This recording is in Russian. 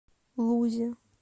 лузе